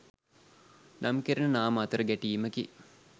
නම් කෙරෙන නාම අතර ගැටීමකි